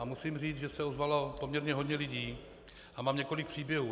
A musím říct, že se ozvalo poměrně hodně lidí a mám několik příběhů.